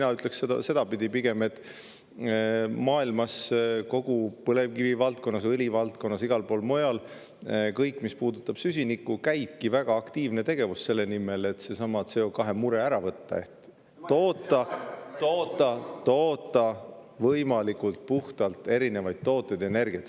Mina ütleksin pigem sedapidi, et maailmas käib põlevkivivaldkonnas, õlivaldkonnas, igal pool mujal, kõigis valdkondades, mis puudutavad süsinikku, väga aktiivne tegevus selle nimel, et seesama CO2 mure ära, toota võimalikult puhtalt erinevaid tooteid ja energiat.